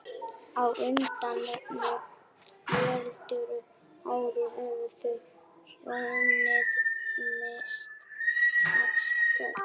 Á undanförnum fjórum árum höfðu þau hjónin misst sex börn.